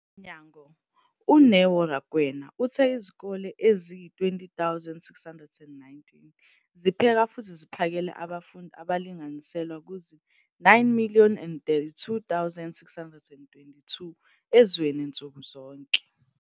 mnyango, uNeo Rakwena, uthe izikole eziyizi-20 619 zipheka futhi ziphakele abafundi abalinganiselwa kuzi-9 032 622 ezweni nsuku zonke.